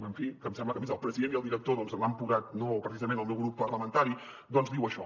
en fi que em sembla que a més el president i el director l’han posat no precisament el meu grup parlamentari doncs diu això